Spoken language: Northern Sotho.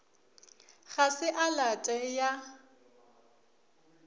ga se a late ya